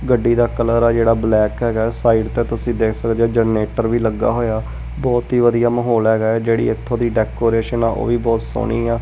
ਗੱਡੀ ਦਾ ਕਲਰ ਆ ਜਿਹੜਾ ਬਲੈਕ ਹੈਗਾ ਸਾਈਡ ਤੇ ਤੁਸੀਂ ਦੇਖ ਸਕਦੇ ਹੋ ਜਨਰੇਟਰ ਵੀ ਲੱਗਾ ਹੋਇਆ ਬਹੁਤ ਹੀ ਵਧੀਆ ਮਾਹੌਲ ਹੈਗਾ ਜਿਹੜੀ ਇੱਥੋਂ ਦੀ ਡੈਕੋਰੇਸ਼ਨ ਆ ਉਹ ਵੀ ਬਹੁਤ ਸੋਹਣੀ ਆ।